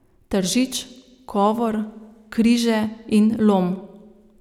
Tržič, Kovor, Križe in Lom.